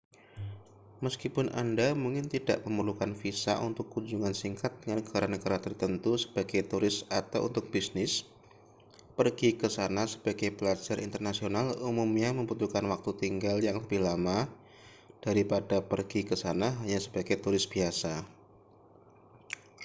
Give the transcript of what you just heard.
meskipun anda mungkin tidak memerlukan visa untuk kunjungan singkat ke negara-negara tertentu sebagai turis atau untuk bisnis pergi ke sana sebagai pelajar internasional umumnya membutuhkan waktu tinggal yang lebih lama daripada pergi ke sana hanya sebagai turis biasa